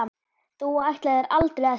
Þú ætlaðir aldrei að sleppa.